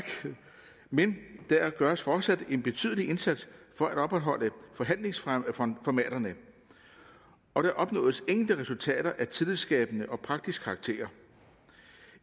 men der gøres fortsat en betydelig indsats for at opretholde forhandlingsformaterne og der opnås enkelte resultater af tillidsskabende og praktisk karakter